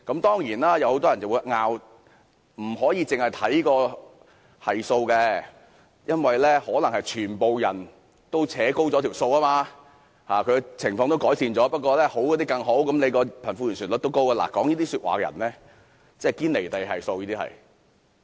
當然，有很多人會爭論不應只看該系數，因為可能是全部人一同拉高了數據，也就是說情況可能已經改善，只是好的人變得更好，所以貧富懸殊率才會高。